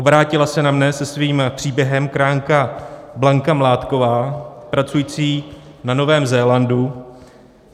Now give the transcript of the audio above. Obrátila se na mne se svým příběhem krajanka Blanka Mládková pracující na Novém Zélandu.